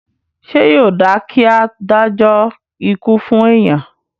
Ṣé yóò dáa kí a dájọ́ ikú fún èèyàn?